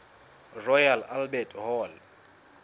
royal albert hall